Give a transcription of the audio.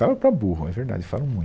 Falo para burro, é verdade, falo muito.